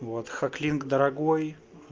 вот хаклинк дорогой